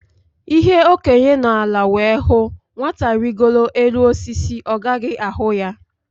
Ihe Okenye nọ ala wee hụ, Nwata rigoo elu osisi, ọ gaghị ahụ ya